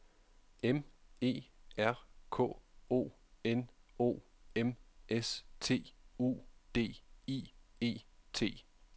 M E R K O N O M S T U D I E T